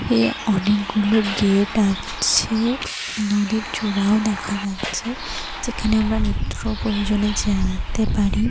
এ অনেকগুলো গেট আছে। নদীর চূড়া ও দেখা যাচ্ছে। যেখানে আমরা নিত্য প্রয়োজনে যেতে পারি।